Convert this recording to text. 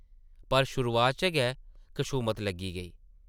पर, शुरुआत च गै कसूमत लग्गी गेई ।